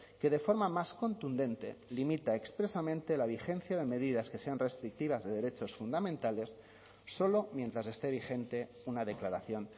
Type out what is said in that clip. que de forma más contundente limita expresamente la vigencia de medidas que sean restrictivas de derechos fundamentales solo mientras esté vigente una declaración